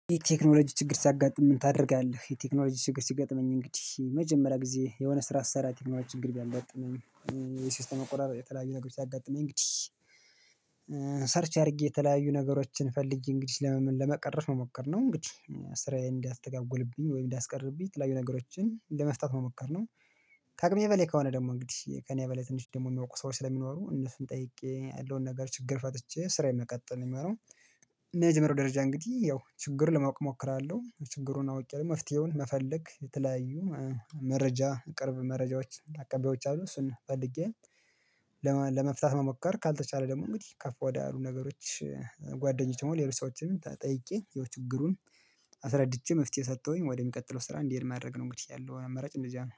የቴክኖሎጂ ችግር ሲያጋጥምህ ምን ታደርጋለህ? የቴክኖሎጂ ችግር ሲገጥመኝ እንግዲህ የመጀመሪያ ጊዜ የሆነ ስራ ስሰራ ችግር ቢያጋጥመኝ የሲስተም አቆራርጥ የተለያዩ ነገር ሲያጋጥመኝ እንግዲህ ሰርች አድርጌ የተለያዩ ነገሮችን ፈልጌ እንግዲህ ለመመለ ለመቀረፍ ነው መሞከርነው እንግዲህ ስራዬን እንዲያስተጓጉልብኝ ወይም እንዳስቀርብኝ ትላዩ ነገሮችን ለመፍታት መሞከር ነው። ቃቅሜ በሌላ ከሆነ ደግሞ እንግዲህ ከእኔ በሌላ ትንሽ ደግሞ የሚያውቁ ሰዎች ስለሚኖሩ እነሱን ጠይቄ ያለውን ነገር ችግር ፈትቼ ስራዬን መቀጠል የሚሆነው። መጀመሪያው ደረጃ እንግዲህ ያው ችግር ለማወቅ እሞክራለሁ ችግሩን አውቄ ደግሞ መፍትሄውን መፈለግ የተለያዩ መረጃ ቅርብ መረጃዎች አቀባዮች አሉ። እሱን ፈልጌ ለመፍታት መሞከር ካልተቻለ ደግሞ እንግዲህ ከፍ ወዳሉ ነገሮች ጓደኞች ደግሞ ሌሎች ሰዎችንም ተጠይቄ ያው የችግሩን አስረድቼ መፍትሄ ሰጠሁኝ ወደሚቀጥለው ስራ እንዲሄድ ማድረግ ነው። እንግዲህ ያለው አመራጭ እንደዚያ ነው